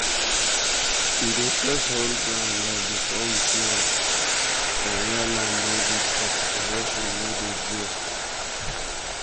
we dey first hold ground well before we plant for where land no good cuz erosion no dey joke.